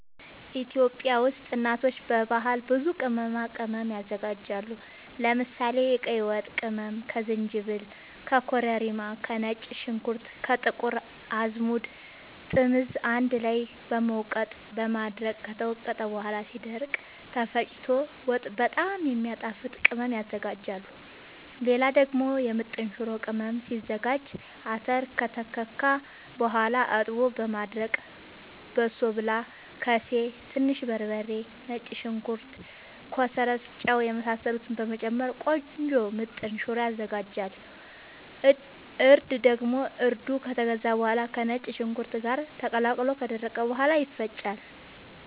ኢትዮጵያ ውስጥ እናቶች በባህል ብዙ ቅመማ ቅመም ያዘጋጃሉ። ለምሳሌ፦ የቀይ ወጥ ቅመም ከዝንጅብል፣ ከኮረሪማ፣ ከነጭ ሽንኩርት፣ ጥቁር አዝሙድ፣ ጥምዝ አንድ ላይ በመውቀጥ በማድረቅ ከተወቀጠ በኋላ ሲደርቅ ተፈጭቶ ወጥ በጣም የሚያጣፋጥ ቅመም ያዝጋጃሉ። ሌላ ደግሞ የምጥን ሽሮ ቅመም ሲዘጋጅ :- አተር ከተከካ በኋላ አጥቦ በማድረቅ በሶብላ፣ ከሴ፣ ትንሽ በርበሬ፣ ነጭ ሽንኩርት፣ ኮሰረት፣ ጫው የመሳሰሉትን በመጨመር ቆንጆ ምጥን ሽሮ ይዘጋጃል። እርድ ደግሞ እርዱ ከተገዛ በኋላ ከነጭ ሽንኩርት ጋር ተቀላቅሎ ከደረቀ በኋላ ይፈጫል።